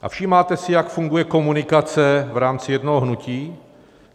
A všímáte si, jak funguje komunikace v rámci jednoho hnutí?